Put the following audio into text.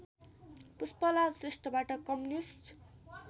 पुष्पलाल श्रेष्ठबाट कम्युनिस्ट